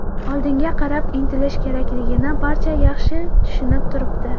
Oldinga qarab intilish kerakligini barcha yaxshi tushunib turibdi.